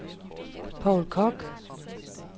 Povl Koch